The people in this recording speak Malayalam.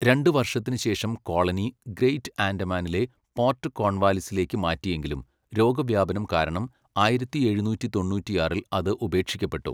രണ്ട് വർഷത്തിന് ശേഷം കോളനി ഗ്രേറ്റ് ആൻഡമാനിലെ പോർട്ട് കോൺവാലിസിലേക്ക് മാറ്റിയെങ്കിലും, രോഗവ്യാപനം കാരണം ആയിരത്തി എഴുനൂറ്റി തൊണ്ണൂറ്റിയാറിൽ അത് ഉപേക്ഷിക്കപ്പെട്ടു.